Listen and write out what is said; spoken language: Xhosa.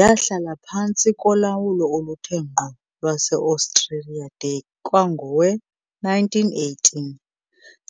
Yahlala phantsi kolawulo oluthe ngqo lwaseOstriya de kwangowe-1918,